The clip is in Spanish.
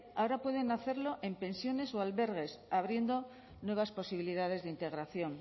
ahora pueden hacerlo en pensiones o albergues abriendo nuevas posibilidades de integración